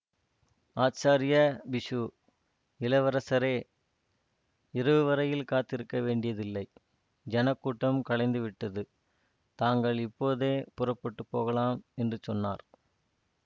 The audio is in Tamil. ஆச்சார்ய பிக்ஷு இளவரசே இரவு வரையில் காத்திருக்க வேண்டியதில்லை ஜனக்கூட்டம் கலைந்துவிட்டது தாங்கள் இப்போதே புறப்பட்டு போகலாம் என்று சொன்னார்